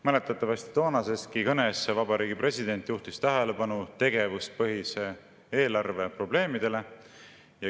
Mäletatavasti toonaseski kõnes juhtis president tähelepanu tegevuspõhise eelarve probleemidele.